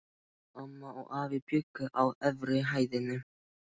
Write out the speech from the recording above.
Amma og afi bjuggu á efri hæðinni.